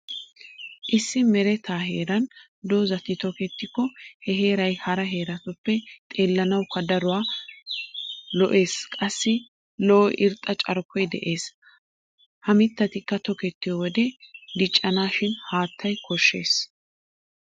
Issi mereta heeran doozati tokettikko he heeray hara heeratuppe xeellanawukka daro lo'eezinne qassi lo'o irxxa carkkoy de'ees. Ha mittatikka tokettiyo wode diccanaasi haattaa koshshees.